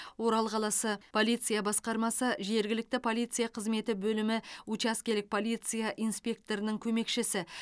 орал қаласы полиция басқармасы жергілікті полиция қызметі бөлімі учаскелік полиция инспекторының көмекшісі